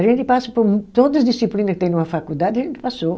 A gente passa por todas disciplina que tem numa faculdade, a gente passou.